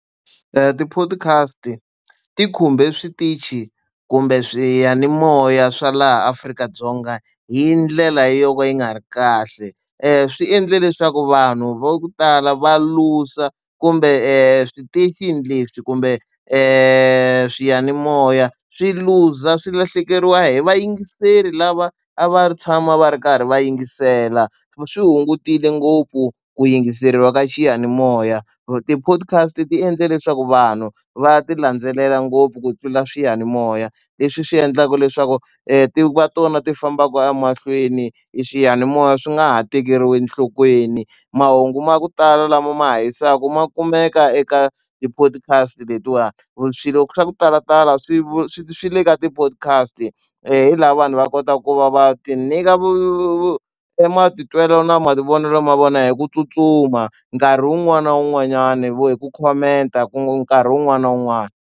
ti-podcast ti khumbe switichi kumbe swiyanimoya swa laha Afrika-Dzonga hi ndlela yo ka yi nga ri kahle. swi endle leswaku vanhu va ku tala va luza kumbe switichini leswi kumbe swiyanimoya swi luza swi lahlekeriwa hi vayingiseri lava a va tshama va ri karhi va yingisela. Swi hungutile ngopfu ku yingiseriwa ka xiyanimoya. ti-podcast ti endle leswaku vanhu va ti landzelela ngopfu ku tlula swiyanimoya, leswi swi endlaka leswaku ti va tona ti fambaka emahlweni e swiyanimoya swi nga ha tekeriwi enhlokweni. Mahungu ma ku tala lama ma ha hisaka ma kumeka eka ti-podcast letiwani, swilo swa ku talatala swi swi swi le ka ti-podcast. hi laha vanhu va kotaka ku va va tinyika e matitwelo na mavonelo ma vona hi ku tsutsuma nkarhi wun'wani na wun'wanyani hi ku khomenta ku nkarhi wun'wani na wun'wani.